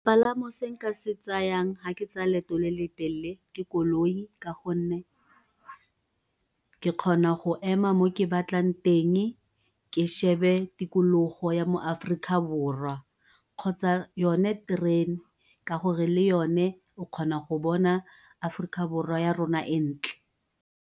Sepalamo se nka se tsayang ga ke tsaya leeto le le telele ke koloi, ka gonne ke gona go ema mo ke batlang teng ke shebe tikologo ya mo Aforika Borwa kgotsa yone terene ka gore le yona o kgona go bona Aforika Borwa ya rona e ntle.